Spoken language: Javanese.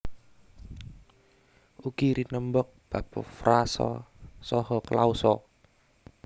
Ugi rinembag bab frasa saha klausa